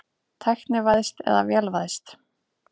Tæknivæðst eða vélvæðst?